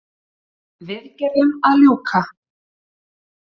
Viðgerðum að ljúka